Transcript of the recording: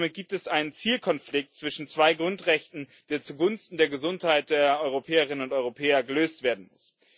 Somit gibt es einen Zielkonflikt zwischen zwei Grundrechten, der zugunsten der Gesundheit der Europäerinnen und Europäer gelöst werden muss.